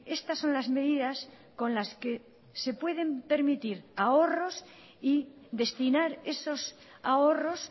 estas son las medidas con las que se pueden permitir ahorros y destinar esos ahorros